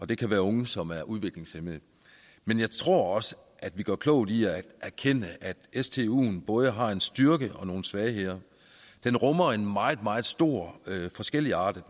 det kan være unge som er udviklingshæmmede men jeg tror også at vi gør klogt i at erkende at stuen både har en styrke og nogle svagheder den rummer en meget meget stor forskelligartet